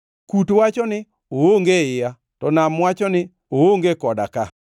Kut wacho ni, ‘Oonge e iya;’ to nam wacho ni, ‘Oonge koda ka.’